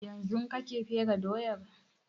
Yanzun kake fere doyan?